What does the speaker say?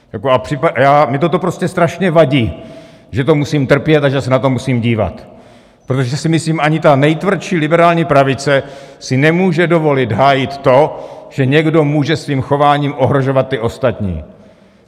Mně toto prostě strašně vadí, že to musím trpět a že se na to musím dívat, protože si myslím: ani ta nejtvrdší liberální pravice si nemůže dovolit hájit to, že někdo může svým chováním ohrožovat ty ostatní.